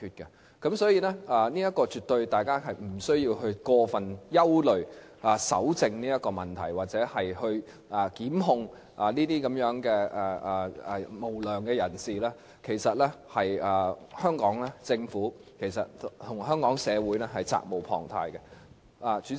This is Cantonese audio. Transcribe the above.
因此，大家絕對無須過分憂慮搜證方面的問題，而檢控這些無良人士，其實是香港政府及社會責無旁貸的。